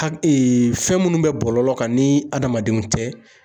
Hae fɛn munnu bɛ bɔlɔlɔ kan ni adamadenw tɛ